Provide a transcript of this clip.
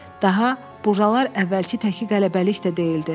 Daha buralar əvvəlki təki qələbəlik də deyildi.